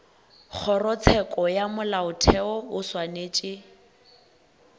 kgorotsheko ya molaotheo o swanetše